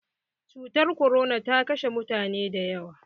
Cutar korona ta kashe mutane da yawa.